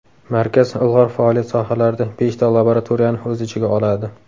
Markaz ilg‘or faoliyat sohalarida beshta laboratoriyani o‘z ichiga oladi.